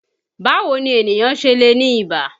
Báwo ni ènìyàn ṣe lè ní ìbà?